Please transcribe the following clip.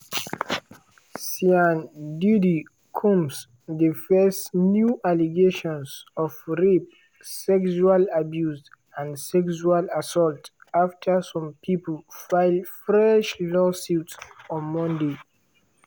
sean "diddy" combs dey face new allegations of rape sexual abuse and sexual assault afta some pipo file fresh lawsuits on monday.